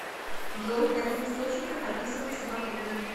джой в каких источниках описывается батурин